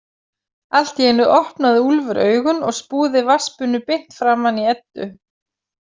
Allt í einu opnaði Úlfur augun og spúði vatnsbunu beint framan í Eddu.